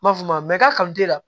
N m'a fɔ ma k'a